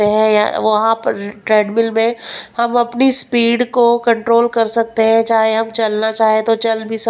है वहां पर ट्रेडमिल में हम अपनी स्पीड को कंट्रोल कर सकते हैं चाहे हम चलना चाहे तो चल भी--